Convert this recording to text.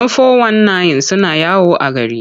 Yan fo-wan-nayin suna yawo a gari.